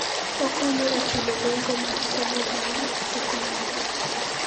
Okonyo e chulo nengo mar somo bang' sekondari.